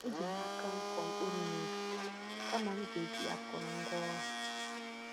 E Jim aka m kụọ mkpụrụ nubi kama m ga e jì akụrụ ngwá ọrụ